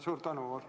Suur tänu!